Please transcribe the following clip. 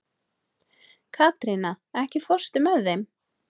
Katrína, ekki fórstu með þeim?